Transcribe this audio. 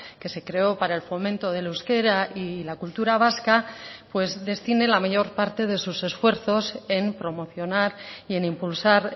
que se creó para el fomento del euskera y la cultura vasca pues destine la mayor parte de sus esfuerzos en promocionar y en impulsar